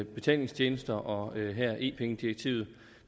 betalingstjenester og her e penge direktivet